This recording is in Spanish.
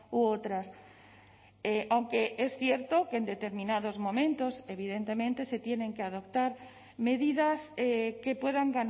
u otras aunque es cierto que en determinados momentos evidentemente se tienen que adoptar medidas que puedan